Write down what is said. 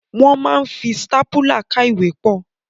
Wọ́n máa ń fi stápùlà ká ìwé pọ̀.